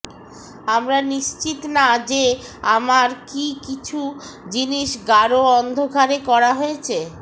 আমরা নিশ্চিত না যে আমার কি কিছু জিনিস গাঢ় অন্ধকারে করা হয়েছে